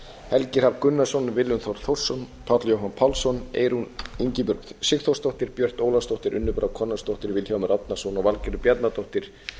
helgi hrafn gunnarsson willum þór þórsson páll jóhann pálsson eyrún ingibjörg sigþórsdóttir björt ólafsdóttir unnur brá konráðsdóttir vilhjálmur árnason og valgerður bjarnadóttir